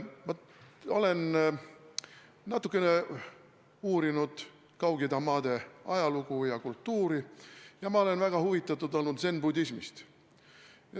Ma olen natukene uurinud Kaug-Ida maade ajalugu ja kultuuri ja olnud väga huvitatud zen-budismist.